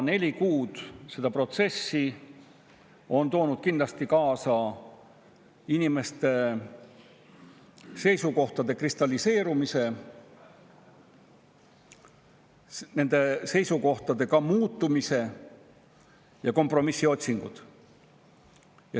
Neli kuud seda protsessi on toonud kindlasti kaasa inimeste seisukohtade kristalliseerumise, nende seisukohtade muutumise ja kompromissi otsingud.